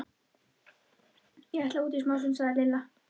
Ég ætla út í smástund, sagði Lilla.